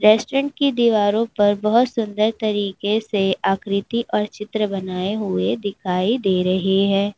Restaurant की दीवारों पर बहुत सुंदर तरीके से आकृति और चित्र बनाए हुए दिखाई दे रहे हैं।